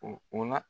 O o la